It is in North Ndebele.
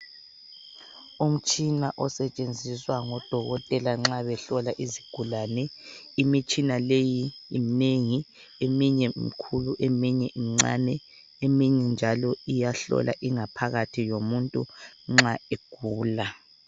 Umtshina osetshenziswa ngodokotela nxa behlola izigulane. Imitshina leyi imnengi, eminye mikhulu, eminye mncane, eminye njalo iyahlola ingaphakathi yomuntu nxa egula.